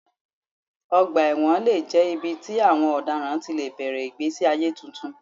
Ọgbà ẹ̀wọ̀n lè jẹ́ ibi tí àwọn ọ̀daràn ti lè bẹ̀rẹ̀ ìgbésí ayé tuntun.